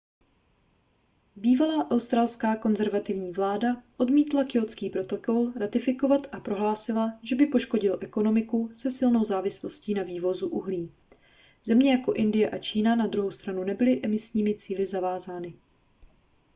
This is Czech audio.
bývalá australská konzervativní vláda odmítla kjótský protokol ratifikovat a prohlásila že by poškodil ekonomiku se silnou závislostí na vývozu uhlí země jako indie a čína na druhou stranu nebyly emisními cíli vázány